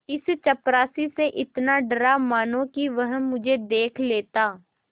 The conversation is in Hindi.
इस चपरासी से इतना डरा मानो कि वह मुझे देख लेता